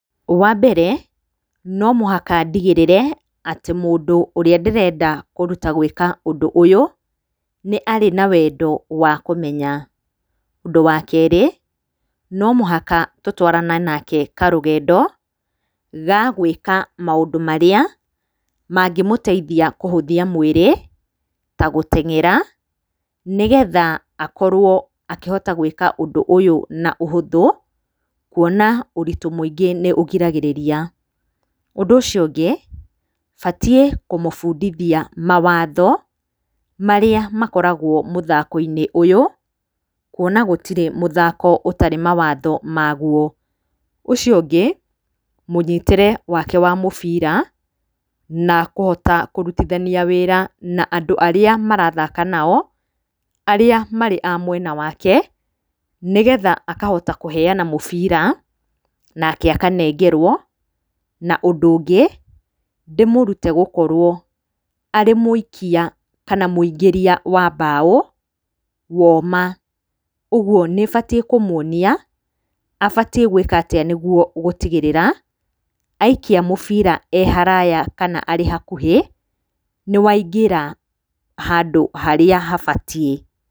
Wa mbere, no mũhaka ndigĩrĩre atĩ mũndũ ũrĩa ndĩrenda kũruta gwĩka ũndũ ũyũ, nĩ arĩ na wendo wa kũmenya. Ũndũ wa kerĩ, no mũhaka tũtwarane nake karũgendo, ga gwĩka maũndũ marĩa, mangĩmũteithia kũhũthia mwĩrĩ, ta gũteng'era, nĩgetha akorwo akĩhota gwĩka ũndũ ũyũ na ũhũthũ, kuona ũritũ mũingĩ nĩ ũgiragĩrĩria. Ũndũ ũcio ũngĩ, batiĩ kũmũbundithia mawatho, marĩa makoragwo mũthako-inĩ ũyũ, kuona gũtirĩ mũthako ũtarĩ mawatho ma guo. Ũcio ũngĩ, mũnyitĩre wake wa mũbira na kũhota kũrutithania wĩra na andũ arĩa marathaka nao, arĩa marĩ a mwena wake, nĩgetha akahota kũheana mũbira, nake akanengerwo, na ũndũ ũngĩ, ndĩmũrute gũkorwo arĩ mũikia kana mũingĩria wa mbao, woma, ũguo nĩ batiĩ kũmuonia abatiĩ gwĩka atĩa nĩguo gũtigĩrĩra, aikia mũbira e haraya kana e hakuhĩ, nĩ waingĩra, handũ harĩa habatiĩ.